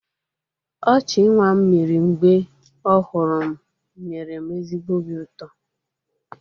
Ọchị nwa m mịrị mgbe ọ hụrụ m nyere m ezigbo obi ụtọ.